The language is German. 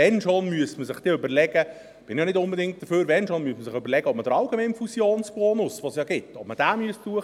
Wenn schon, müsste man sich überlegen – dafür bin ich auch nicht unbedingt –, ob man den allgemeinen Fusionsbonus, den es ja gibt, hinaufsetzen müsste.